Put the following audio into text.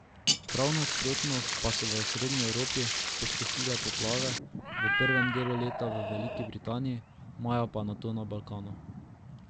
Prav nasprotno pa so v srednji Evropi pustošile poplave, v prvem delu leta v Veliki Britaniji, maja pa nato na Balkanu.